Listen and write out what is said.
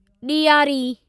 ॾियारी